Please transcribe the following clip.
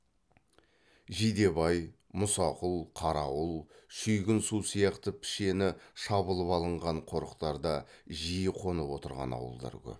жидебай мұсақұл қарауыл шүйгін су сияқты пішені шабылып алынған қорықтарда жиі қонып отырған ауылдар көп